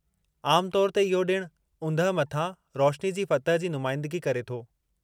आम तौरु ते, इहो ॾिण ऊंदहि मथां रोशिनी जी फ़तह जी नुमाईंदिगी करे थो।